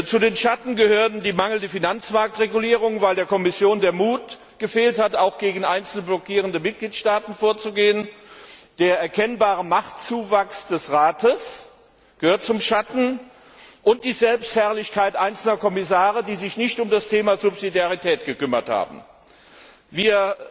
Zu den Schatten gehörten die mangelnde Finanzmarktregulierung weil der Kommission der Mut gefehlt hat, auch gegen einzelne blockierende Mitgliedstaaten vorzugehen der erkennbare Machtzuwachs des Rates und die Selbstherrlichkeit einzelner Kommissare, die sich nicht um das Thema Subsidiarität gekümmert haben. Wir